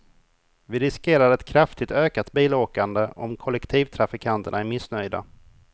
Vi riskerar ett kraftigt ökat bilåkande om kollektivtrafikanterna är missnöjda.